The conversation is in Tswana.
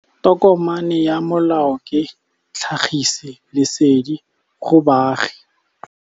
Tokomane ya molao ke tlhagisi lesedi go baagi.